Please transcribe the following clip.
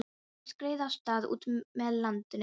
Báturinn skreið af stað út með landinu.